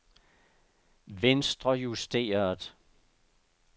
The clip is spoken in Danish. venstrejusteret